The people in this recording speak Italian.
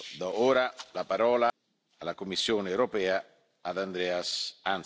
Do ora la parola alla Commissione europea, ad Andrus Ansip.